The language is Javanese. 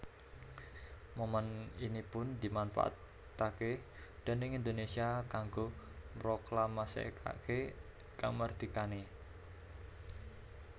Momèn ini pun dimanfaataké déning Indonésia kanggo mroklamasèkaké kamardikané